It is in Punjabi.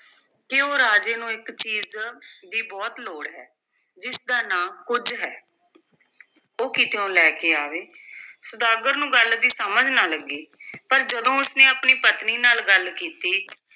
ਕਿ ਉਹ ਰਾਜੇ ਨੂੰ ਇਕ ਚੀਜ਼ ਦੀ ਬਹੁਤ ਲੋੜ ਹੈ, ਜਿਸ ਦਾ ਨਾਂ ਕੁੱਝ ਹੈ ਉਹ ਕਿਤਿਓਂ ਲੈ ਕੇ ਆਵੇ ਸੁਦਾਗਰ ਨੂੰ ਗੱਲ ਦੀ ਸਮਝ ਨਾ ਲੱਗੀ ਪਰ ਜਦੋਂ ਉਸ ਨੇ ਆਪਣੀ ਪਤਨੀ ਨਾਲ ਗੱਲ ਕੀਤੀ,